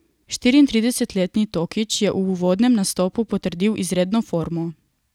Štiriintridesetletni Tokić je v uvodnem nastopu potrdil izredno formo.